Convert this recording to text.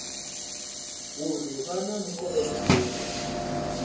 uri vhu na mukovhe muuku